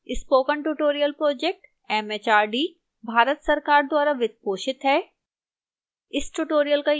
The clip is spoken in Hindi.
spoken tutorial project mhrd Bharat सरकार द्वारा वित्त पोषित है